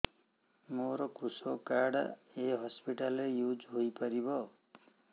ମୋର କୃଷକ କାର୍ଡ ଏ ହସପିଟାଲ ରେ ୟୁଜ଼ ହୋଇପାରିବ